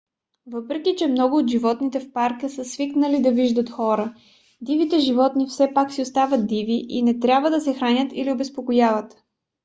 въпреки че много от животните в парка са свикнали да виждат хора дивите животни все пак си остават диви и не трябва да се хранят или обезпокояват